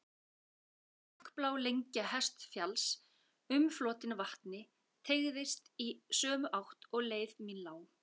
Dökkblá lengja Hestfjalls, umflotin vatni, teygðist í sömu átt og leið mín lá.